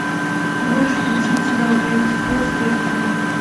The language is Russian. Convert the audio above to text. можешь включить сериал гравити фолз третий сезон